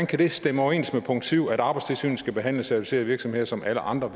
kan det stemme overens med punkt syv om at arbejdstilsynet skal behandle certificerede virksomheder som alle andre